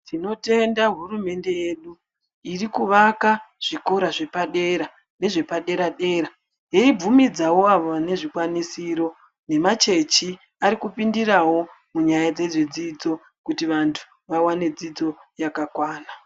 Tinotenda hurumende yedu irikuvaka zvikora zvepadera nezvepadera dera yeibvumidzawo vanezvikwanisiro nemachechi arikupindirawo munyaya yezvidzidzo kuti vantu vaone dzidzo yakakwana.